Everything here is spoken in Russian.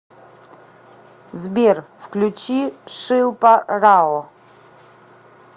сбер включи шилпа рао